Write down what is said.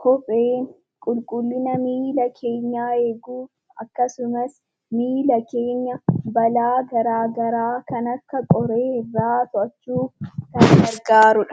kopheen qulqullina miila keenyaa eeguuf akkasumas miila keenya balaa garaagaraa kan akka qoree irraa to'achuuf kan gargaarudha.